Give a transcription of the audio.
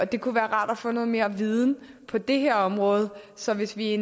det kunne være rart at få noget mere viden på det her område så hvis vi